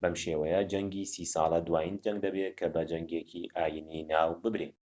بەم شێوەیە جەنگی سی ساڵە دوایین جەنگ دەبێت کە بە جەنگێکی ئاینیی ناو ببرێت